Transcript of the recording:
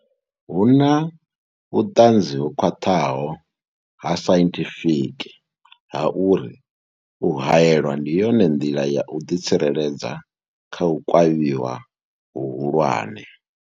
Hu na vhuṱanzi ho khwaṱhaho ha sainthifiki ha uri u haelwa ndi yone nḓila ya u ḓi tsireledza kha u kavhiwa hu hulwane.